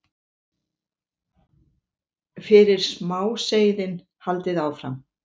fyrir smáseiðin, haldið áfram.